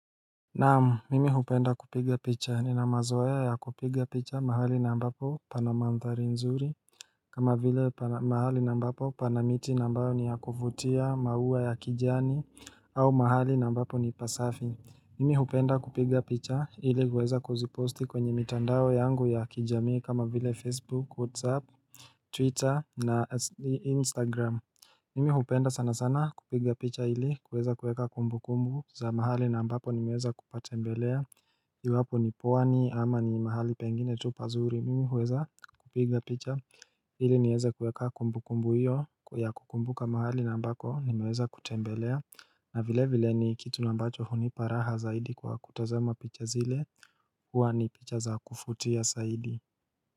Naamu mimi hupenda kupiga picha nina mazoea ya kupiga picha mahali ambapo panamanthari nzuri kama vile mahali nambapo panamiti ambayo ni ya kuvutia mauwa ya kijani au mahali nambapo ni pasafi Mimi hupenda kupiga picha ili kweza kuziposti kwenye mitandao yangu ya kijami kama vile facebook whatsapp twitter na instagram Mimi hupenda sana sana kupiga picha ili kuweza kuweka kumbu kumbu za mahali na ambapo nimeweza kupatembelea iwapo ni pwani ama ni mahali pengine tu pazuri mimi huweza kupiga picha ili nieze kuweka kumbu kumbu hiyo ya kukumbuka mahali nambako nimeweza kutembelea na vile vile ni kitu nambacho huniparaha zaidi kwa kutazama picha zile huwa ni picha za kufutia zaidi.